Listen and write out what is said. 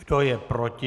Kdo je proti?